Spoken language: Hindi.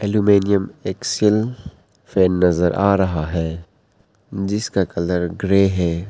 अल्युमिनियम एक्सेल फैन नजर आ रहा है जिसका कलर ग्रे है।